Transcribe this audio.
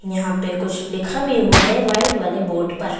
यहां पे कुछ लिखा भी हुआ है वाइट वाले बोर्ड पर।